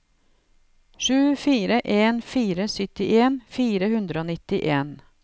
sju fire en fire syttien fire hundre og nittien